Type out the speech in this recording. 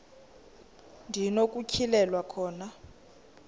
ndi nokutyhilelwa khona